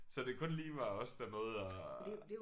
Så det kun lige var os der nåede at